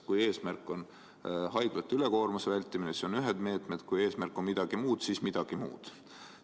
Kui eesmärk on haiglate ülekoormuse vältimine, siis on ühed meetmed, kui eesmärk on mingi teine, siis on meetmedki muud.